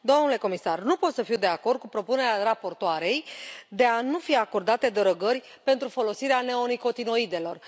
Domnule comisar, nu pot să fiu de acord cu propunerea raportoarei de a nu fi acordate derogări pentru folosirea neonicotinoidelor.